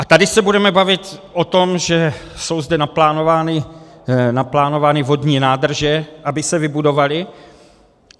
A tady se budeme bavit o tom, že jsou zde naplánovány vodní nádrže, aby se vybudovaly.